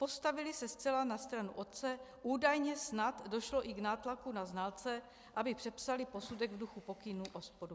Postavily se zcela na stranu otce, údajně snad došlo i k nátlaku na znalce, aby přepsali posudek v duchu pokynů OPOD.